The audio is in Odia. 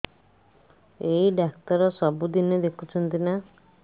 ଏଇ ଡ଼ାକ୍ତର ସବୁଦିନେ ଦେଖୁଛନ୍ତି ନା